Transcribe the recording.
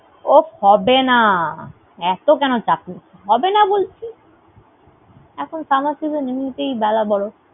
ওফ হবেনা এতো কেন চাপ নিস। হবে না বলছি। এখন summer season এমনি তেই বেলা বড়।